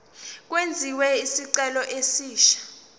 kwenziwe isicelo esisha